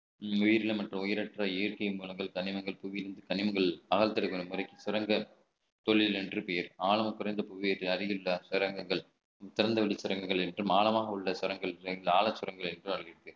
உயிரின மற்றும் உயிரற்ற இயற்கை வளங்கள் தனிமங்கள் கனிமங்கள் சுரங்க தொழில் என்று பெயர் ஆழம் குறைந்து புவியது அறிவில்லா சரகங்கள் திறந்தவெளி சிரங்குகள் என்றும் ஆழமாக உள்ள சுரங்கங்களை இந்த ஆலசுரங்குகள் என்று அறிவித்தேன்